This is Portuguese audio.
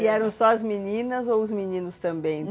E eram só as meninas ou os meninos também?